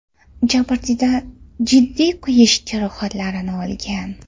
Jabrdiyda jiddiy kuyish jarohatlarini olgan.